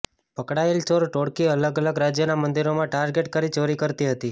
પકડાયેલ ચોર ટોળકી અલગ અલગ રાજ્યોના મંદિરો ટાર્ગેટ કરી ચોરી કરતા હતી